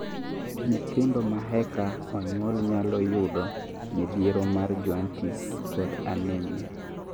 Nyithindo maeka onyuol nyalo yudo midhiero mar jaundice kod anemia